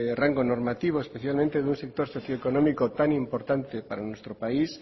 rango normativo especialmente de un sector socioeconómico tan importante para nuestro país